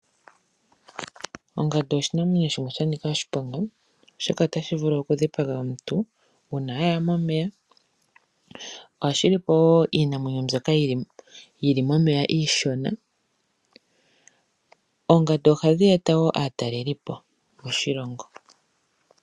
Ongandu oshinamwenyo shimwe sha Nika oshiponga oshoka otashi vulu okudhipaga omuntu uuna aya momeya ohashi li po wo iinamwenyo mbyoka yili momeya iishona oongandu ohadhi eta woo aatelilipo moshilongo.